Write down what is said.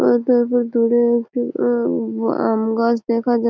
দূরে একটি আম গাছ দেখা যাচ্ছে।